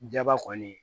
Jaba kɔni